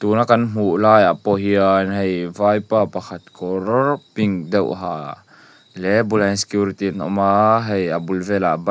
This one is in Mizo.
tuna kan hmuh lai ah pawh hian hei vaipa pakhat kawr pink deuh ha leh a bulah hian security an awm a hei a bul velah bike --